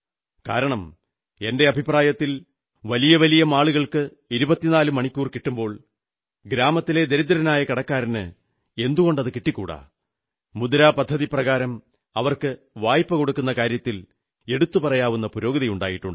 കാരണം എന്റെ അഭിപ്രായത്തിൽ വലിയവലിയ മാളുകൾക്ക് 24 മണിക്കൂർ കിട്ടുമ്പോൾ ഗ്രാമത്തിലെ ദരിദ്രനായ കടക്കാരന് എന്തുകൊണ്ടു കിട്ടിക്കൂടാ മുദ്രാ പദ്ധതിപ്രകാരം അവർക്ക് വായ്പ കൊടുക്കുന്ന കാര്യത്തിൽ എടുത്തുപറയാവുന്ന പുരോഗതിയുണ്ട്